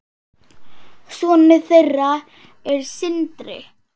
Sonur þeirra er Sindri.